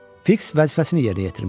Fiks vəzifəsini yerinə yetirmişdi.